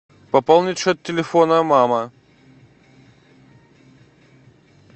пополнить счет телефона мама